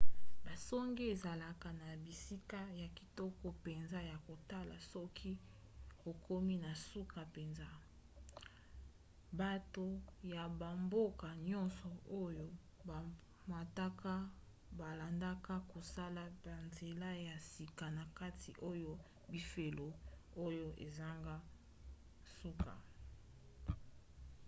basonge ezalaka na bisika ya kitoko mpenza ya kotala soki okomi na suka mpenza. bato ya bamboka nyonso oyo bamataka balandaka kosala banzela ya sika na kati oyo bifelo oyo ezanga suka